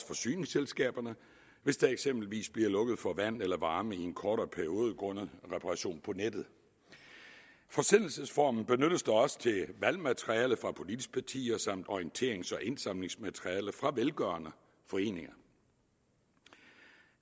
forsyningsselskaberne hvis der eksempelvis bliver lukket for vand eller varme i en kortere periode grundet reparation på nettet forsendelsesformen benyttes da også til valgmateriale fra politiske partier samt orienterings og indsamlingsmateriale fra velgørende foreninger